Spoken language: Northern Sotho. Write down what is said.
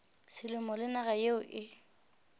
selemo le naga yeo e